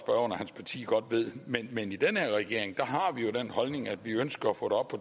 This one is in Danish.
og hans parti godt ved men i den her regering har vi jo den holdning at vi ønsker at få